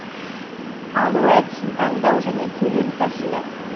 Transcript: алу әдісін таңдау және төлем тәсілі